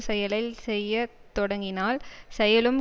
செயலை செய்ய தொடங்கினால் செயலும்